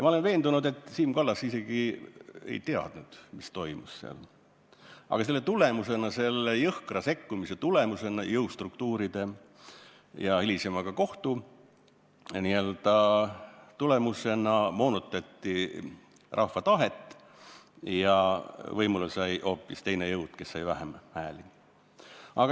Ma olen veendunud, et Siim Kallas isegi ei teadnud, mis seal toimus, aga selle jõhkra sekkumisega, jõustruktuuride sekkumisega ja hilisema kohtuga moonutati rahva tahet ja võimule sai hoopis teine jõud, kes sai vähem hääli.